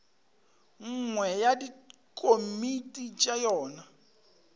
nngwe ya dikomiti tša yona